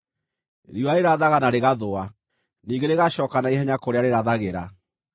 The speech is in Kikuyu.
Riũa rĩrathaga na rĩgathũa, ningĩ rĩgacooka na ihenya kũrĩa rĩrathagĩra.